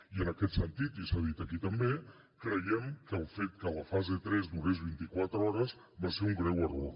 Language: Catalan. i en aquest sentit i s’ha dit aquí també creiem que el fet que la fase tres durés vint i quatre hores va ser un greu error